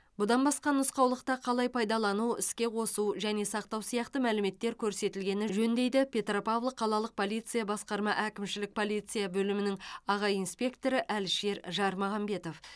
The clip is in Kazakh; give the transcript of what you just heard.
бұдан басқа нұсқаулықта қалай пайдалану іске қосу және сақтау сияқты мәліметтер көрсетілгені жөн дейді петропавл қалалық полиция басқарма әкімшілік полиция бөлімінің аға инспекторы әлішер жармағанбетов